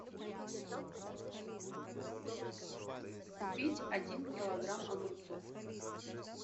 купить один килограмм огурцов